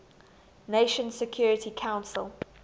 nations security council